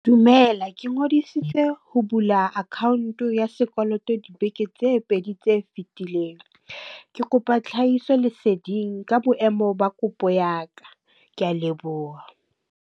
Dumela, ke ngodisitse ho bula account ya sekoloto dibeke tse pedi tse fitileng. Ke kopa tlhahiso leseding ka boemo ba kopo ya ka. Ke a leboha.